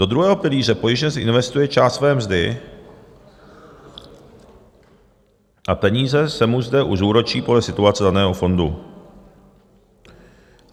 Do druhého pilíře pojištěnec investuje část své mzdy a peníze se mu zde už zúročí podle situace daného fondu.